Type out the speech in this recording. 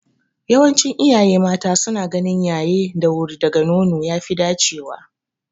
Yawancin iyaye mata suna ganin yaye da wuri daga nono ya fi dacewa.